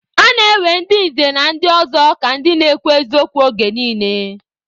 A na-ewe ndị nze na ọzọ ka ndị na-ekwu eziokwu oge niile